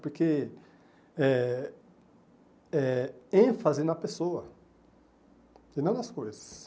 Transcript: Porque é é ênfase na pessoa e não nas coisas.